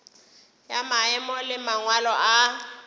ya maemo le mangwalo a